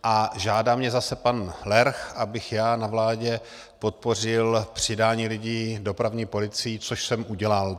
A žádá mě zase pan Lerch, abych já na vládě podpořil přidání lidí dopravní policii, co jsem udělal.